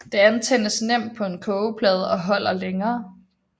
Det antændes nemt på en kogeplade og holder længere